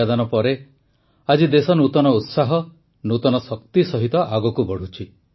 ମୁଁ କୋଟି କୋଟି ନମସ୍କାର କହିବାର କାରଣ ୧୦୦ କୋଟି ପାନ ଟିକାଦାନ ପରେ ଆଜି ଦେଶ ନୂତନ ଉତ୍ସାହ ନୂତନ ଶକ୍ତି ସହିତ ଆଗକୁ ବଢ଼ୁଛି